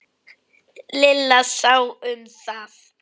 Lilla sá um það.